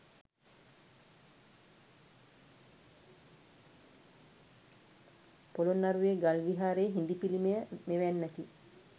පොළොන්නරුවේ ගල් විහාරයේ හිඳි පිළිමය මෙවැන්නකි.